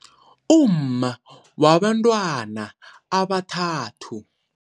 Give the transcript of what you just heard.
Umma wabantwana abathathu.